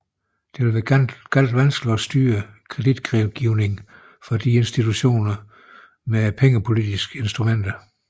Det vil være meget vanskeligt at styre kreditgivningen fra disse institutioner med pengepolitiske instrumenter